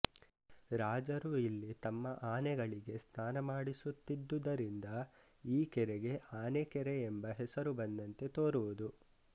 ರಾಜರು ಇಲ್ಲಿ ತಮ್ಮ ಆನೆಗಳಿಗೆ ಸ್ನಾನ ಮಾಡಿಸುತ್ತಿದ್ದು ದರಿಂದ ಈ ಕೆರೆಗೆ ಆನೆಕೆರೆಯೆಂಬ ಹೆಸರು ಬಂದಂತೆ ತೋರುವುದು